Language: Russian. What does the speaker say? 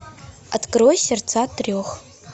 открой сердца трех